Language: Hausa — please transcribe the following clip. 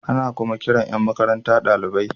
Ana kuma kiran Yan makaranta dalibai.